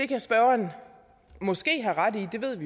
kan spørgeren måske